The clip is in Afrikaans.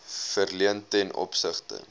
verleen ten opsigte